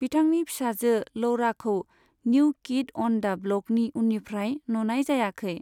बिथांनि फिसाजो लौराखौ निउ किड अन दा ब्लकनि उननिफ्राय नुनाय जायाखै।